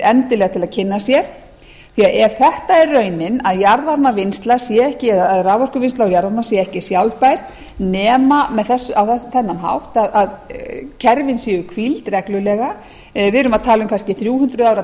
endilega til að kynna sér því að ef þetta er raunin að jarðvarmavinnsla eða raforkuvinnsla á jarðvarma sé ekki sjálfbær nema á þennan hátt að kerfin séu hvíld reglulega við erum að tala um kannski þrjú hundruð ára